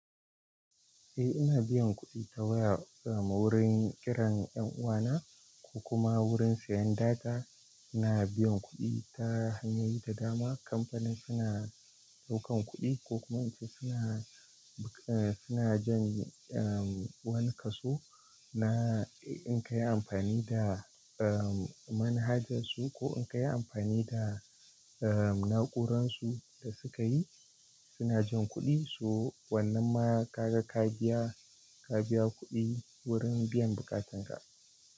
Eh ina biyan kuɗi ta waya wurin kiran 'yan uwana ko kuma wurin siyan data. Ina biyan kuɗi ta hanyoyi da dama. Kamfanin suna ɗaukan kuɗi ko kuma ince suna, suna jan, um, wani kaso na in kayi amfani da, um, manhajarsu ko in kayi amfani da, um, na'uransu da suka yi suna jin kuɗi. So wannan ma ka ga ka biya, ka biya kuɗi wurin biyan bukatanka.